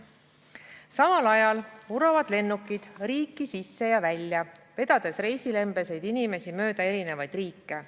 Samal ajal vuravad lennukid riiki sisse ja välja, vedades reisilembeseid inimesi mööda eri riike.